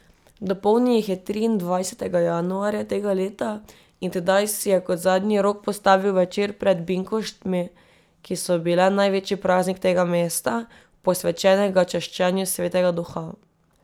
Dopolnil jih je triindvajsetega januarja tega leta in tedaj si je kot zadnji rok postavil večer pred binkoštmi, ki so bile največji praznik tega mesta, posvečenega čaščenju Svetega duha.